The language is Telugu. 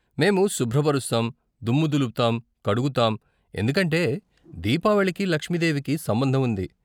మేము శుభ్రపరుస్తాం, దుమ్ము దులుపుతాం, కడుగుతాం, ఎందుకంటే దీపావళికి లక్ష్మీదేవికి సంబంధం ఉంది.